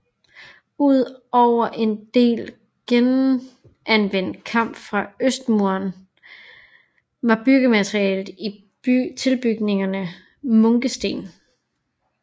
Ud over en del genanvendt kamp fra østmuren var byggematerialet i tilbygningerne munkesten